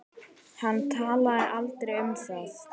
Hann talaði aldrei um það.